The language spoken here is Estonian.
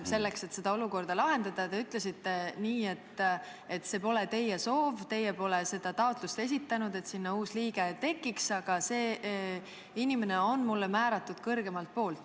Selleks et seda olukorda lahendada, te ütlesite nii, et see ei olnud teie soov, teie seda taotlust ei esitanud, et sinna uus liige tekiks, aga "see inimene on mulle määratud kõrgemalt poolt".